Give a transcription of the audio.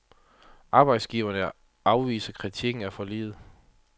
Arbejdsgiverne afviser kritikken af forliget.